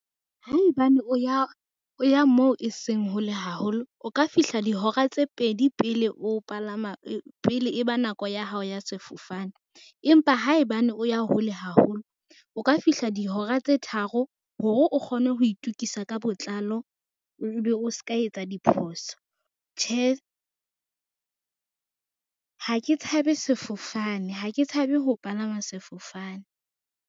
Haebane o ya moo e seng hole haholo, o ka fihla dihora tse pedi pele e ba nako ya hao ya sefofane, empa haebane o ya hole haholo, o ka fihla dihora tse tharo hore o kgone ho itukisa ka botlalo, ebe o ska etsa diphoso. Tjhe, ha ke tshabe sefofane, ha ke tshabe ho palama sefofane.